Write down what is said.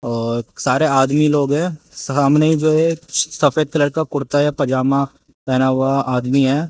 और सारे आदमी लोग हैं। सामने जो हैं सफेद कलर का कुर्ता या पजामा पहना हुआ आदमी है।